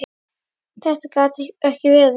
Þetta gat ekki verið.